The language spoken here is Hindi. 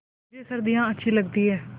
मुझे सर्दियाँ अच्छी लगती हैं